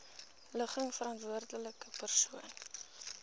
ligging verantwoordelike persoon